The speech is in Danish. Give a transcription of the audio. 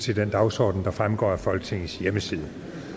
til den dagsorden der fremgår af folketingets hjemmeside